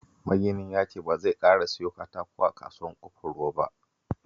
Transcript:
Maginin ya ce ba zai ƙara siyo katako a Kasuwar Ƙofar Ruwa ba